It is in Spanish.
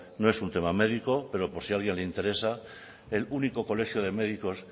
no es un tema médico pero por si a alguien le interesa el único colegio de médicos